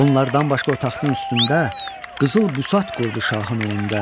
Bunlardan başqa o taxtın üstündə qızıl büsat qurdu şahın önündə.